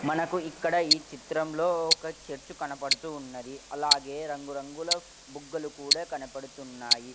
మనకు ఇక్కడ ఈ చిత్రంలో ఒక చర్చ్ కనబడుతూ ఉన్నది అలాగే రంగురంగుల బుగ్గలు కూడా కనపడుతున్నాయి.